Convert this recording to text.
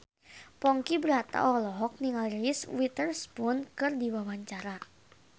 Ponky Brata olohok ningali Reese Witherspoon keur diwawancara